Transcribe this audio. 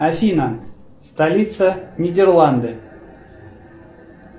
афина столица нидерланды